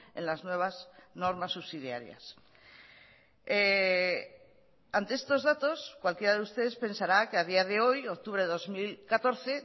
en las nuevas normas subsidiarias ante estos datos cualquiera de ustedes pensará que a día de hoy octubre de dos mil catorce